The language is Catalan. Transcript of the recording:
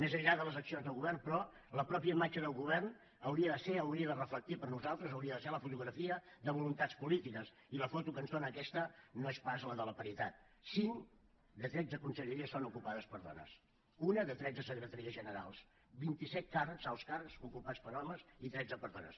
més enllà de les accions de govern però la pròpia imatge del govern hauria de ser hauria de reflectir per nosaltres hauria de ser la fotografia de voluntats polítiques i la foto que ens dóna aquesta no és pas la de la paritat cinc de tretze conselleries són ocupades per dones una de tretze secretaries generals vint i set càrrecs alts càrrecs ocupats per homes i tretze per dones